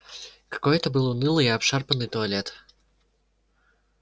какой это был унылый и обшарпанный туалет